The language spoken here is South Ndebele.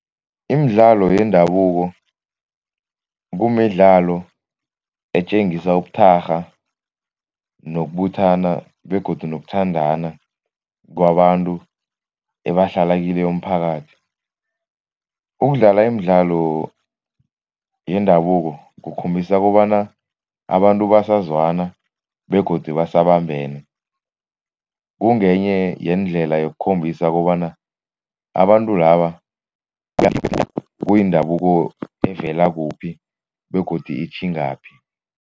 Imidlalo yendabuko kumidlalo etjengisa ubuthakgha nokubuthana begodu nokuthandana kwabantu ebahlala kileyo mphakathi. Ukudlala imidlalo yendabuko kukhombisa kobana abantu basazwana begodu basabambene, kungenye yeendlela yokukhombisa kobana abantu laba kuyindabuko evela kuphi begodu itjhingaphi.